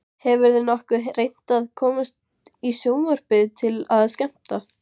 Hefurðu nokkuð reynt að komast í sjónvarpið til að skemmta?